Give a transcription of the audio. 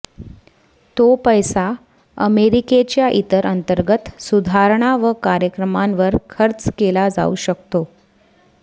तो पैसा अमेरीकेच्या ईतर अंतर्गत सुधारणा व कार्यक्रमांवर खर्च केला जाऊ शकतो